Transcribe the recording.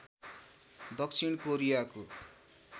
दक्षिण कोरियाको